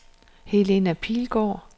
Helena Pilgaard